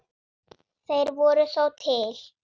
Þeir voru þó til.